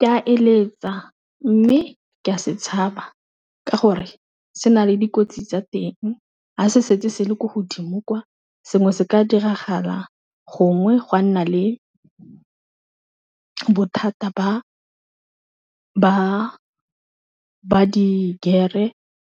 Ka a eletsa mme ke a se tshaba, ka gore se na le dikotsi tsa teng ga se setse se le ko godimo kwa sengwe se ka diragala gongwe gwa nna le bothata ba di-gear-e